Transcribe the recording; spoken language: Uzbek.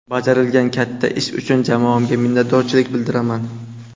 Bajarilgan katta ish uchun jamoamga minnatdorchilik bildiraman.